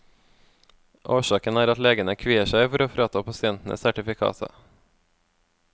Årsaken er at legene kvier seg for å frata pasientene sertifikatet.